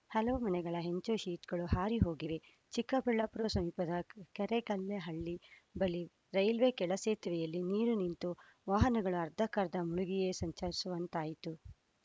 ಹಲವು ಮನೆಗಳ ಹೆಂಚು ಶೀಟ್‌ಗಳು ಹಾರಿ ಹೋಗಿವೆ ಚಿಕ್ಕಬಳ್ಳಾಪುರ ಸಮೀಪದ ಕೆರೇಕಲ್ಲಹಳ್ಳಿ ಬಳಿ ರೈಲ್ವೆ ಕೆಳಸೇತುವೆಯಲ್ಲಿ ನೀರು ನಿಂತು ವಾಹನಗಳು ಅರ್ಧಕ್ಕರ್ಧ ಮುಳುಗಿಯೇ ಸಂಚರಿಸುವಂತಾಯಿತು